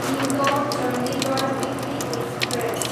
Indore, Chandigarh weekly express